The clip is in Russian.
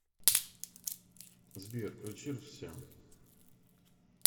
сбер включи рвсиан